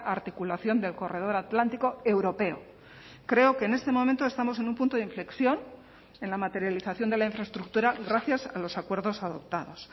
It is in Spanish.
articulación del corredor atlántico europeo creo que en este momento estamos en un punto de inflexión en la materialización de la infraestructura gracias a los acuerdos adoptados